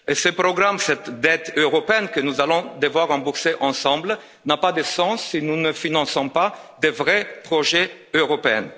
Ce programme, cette dette européenne que nous allons devoir rembourser ensemble, n'a pas de sens si nous ne finançons pas des vrais projets européens.